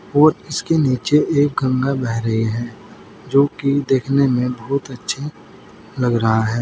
और इसके नीचे एक गंगा बह रही है जो कि देखने में बहुत अच्छी लग रहा है।